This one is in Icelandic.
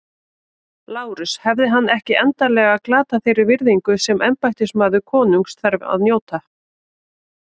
LÁRUS: Hefði hann ekki endanlega glatað þeirri virðingu sem embættismaður konungs þarf að njóta?